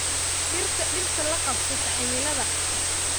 Dhirta dhirta la qabsata cimilada.